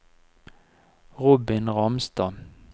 Robin Ramstad